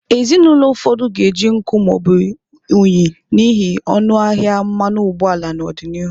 Ezinụlọ ụfọdụ ga-eji nkụ ma ọ bụ unyi n'ihi ọnụ ahịa mmanụ ụgbọala n'ọdịnihu.